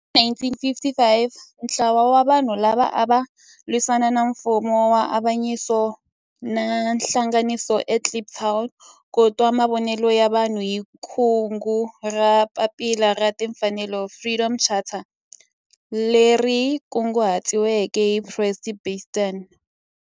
Hi 1955 ntlawa wa vanhu lava ava lwisana na nfumo wa avanyiso va hlanganile eKliptown ku twa mavonelo ya vanhu hi kungu ra Papila ra Tinfanelo Freedom Charter leri kunguhatiweke hi Rusty Bernstein.